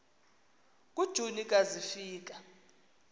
kujuni ka zafika